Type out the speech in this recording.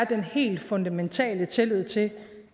den helt fundamentale tillid til